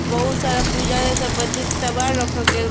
बहुत सारा पूजा से संबंधित सामान रखल गइल बा।